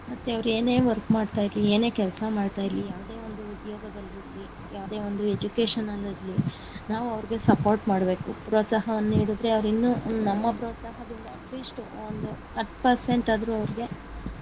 ಮತ್ತೆ ಅವರು ಏನೇ work ಮಾಡ್ತಾ ಇರ್ಲಿ ಏನೇ ಕೆಲಸ ಮಾಡ್ತಿರ್ಲಿ ಯಾವ್ದೋ ಒಂದು ಉದ್ಯೋಗದಲ್ಲಿ ಇರ್ಲಿ ಯಾವ್ದೇ ಒಂದು education ಅಲ್ಲಿ ಇರ್ಲಿ ನಾವು ಅವ್ರಿಗೆ support ಮಾಡ್ಬೇಕು ಪ್ರೋತ್ಸಾಹವನ್ನು ನೀಡಿದರೆ ಅವರಿನ್ನು ನಮ್ಮ ಪ್ರೋತ್ಸಾಹದಿಂದ at least ಒಂದು ಹತ್ತ್ percent ಆದ್ರೂ ಅವ್ರ್ಗೆ.